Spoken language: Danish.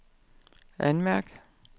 anmærk